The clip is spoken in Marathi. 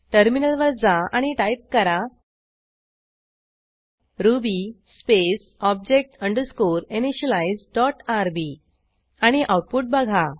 टर्मिनलवर जा आणि टाईप करा Ruby space object underscore initialize dot RB आणि आऊटपुट बघा